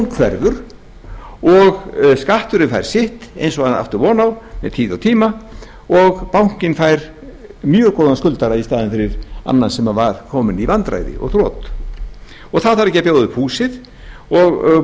hverfur og skatturinn fær sitt eins og hann átti von á með tíð og tíma og bankinn fær mjög góðan skuldara í staðinn fyrir annan sem var kominn í vandræði og þrot það þarf ekki að bjóða upp húsið